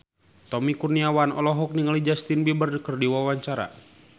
Tommy Kurniawan olohok ningali Justin Beiber keur diwawancara